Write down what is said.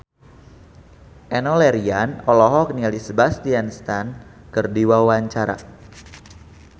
Enno Lerian olohok ningali Sebastian Stan keur diwawancara